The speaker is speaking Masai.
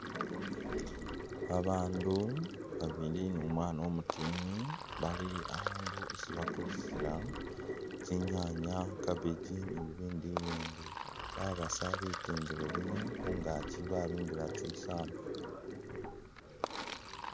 Babandu babili numwana umutini bali akhundu isi bakulisila tsinyaanya, cabbage ni'bibindu ibindi, babasa bitindilo bino khungaaki babimbila tsisaamba